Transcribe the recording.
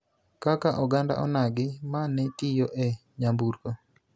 kaka oganda onagi ma ne tiyo e nyamburko,